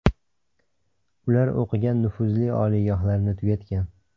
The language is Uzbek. Ular o‘qigan, nufuzli oliygohlarni tugatgan.